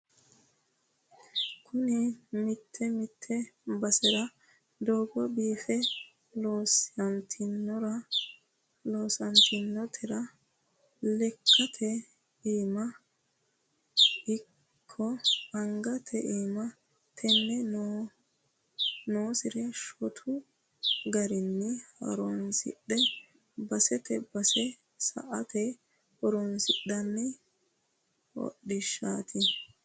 Kuni mite mite basera doogo biife loossatinotera lekkate iima ikko angate iima te'ne noonsari shotu garinni horonsidhe basete base sa"ate horonsidhano hodhishshati